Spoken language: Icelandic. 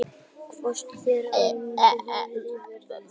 Vöktu þessi ummæli hörð viðbrögð